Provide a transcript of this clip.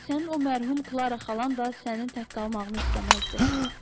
Sənin o mərhum Klara xalan da sənin tək qalmağını istəməzdi.